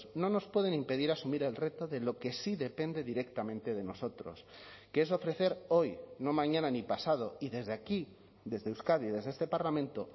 no nos pueden impedir asumir el reto de lo que sí depende directamente de nosotros que es ofrecer hoy no mañana ni pasado y desde aquí desde euskadi desde este parlamento